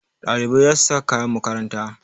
Ɗalibai za su sa kayan makaranta.